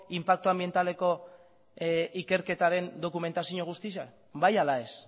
inpaktu anbientaleko ikerketaren dokumentazio guztia bai ala ez